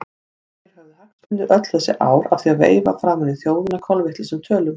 Hverjir höfðu hagsmuni öll þessi ár af því að veifa framan í þjóðina kolvitlausum tölum?